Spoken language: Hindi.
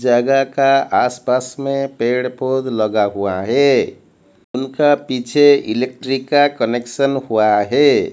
जगह का आसपास में पेड़ पौध लगा हुआ है। उनका पीछे इलेक्ट्रिक का कनेक्शन हुआ है।